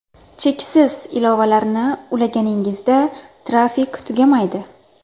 Cheksiz ilovalarni ulaganingizda, trafik tugamaydi.